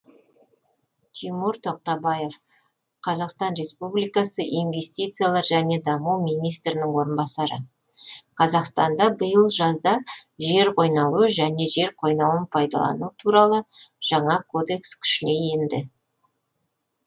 тимур тоқтабаев қазақстан республикасы инвестициялар және даму министрінің орынбасары қазақстанда биыл жазда жер қойнауы және жер қойнауын пайдалану туралы жаңа кодекс күшіне енді